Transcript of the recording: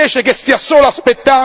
No, non seriamente.